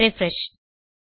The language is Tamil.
ரிஃப்ரெஷ்